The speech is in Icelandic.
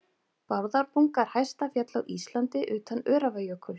Bárðarbunga er hæsta fjall á Íslandi utan Öræfajökuls.